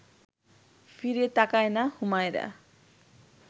ফিরে তাকায় না হুমায়রা